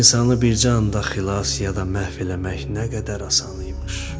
İnsanı bircə anda xilas ya da məhv eləmək nə qədər asan imiş.